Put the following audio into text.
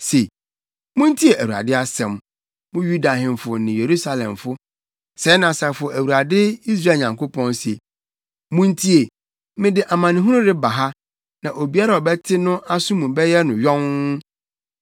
se, ‘Muntie Awurade asɛm, mo Yuda ahemfo ne Yerusalemfo. Sɛɛ na Asafo Awurade Israel Nyankopɔn se. Muntie, mede amanehunu reba ha, na obiara a ɔbɛte no aso mu bɛyɛ no yonn.